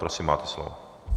Prosím, máte slovo.